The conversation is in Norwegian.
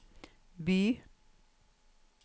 Bye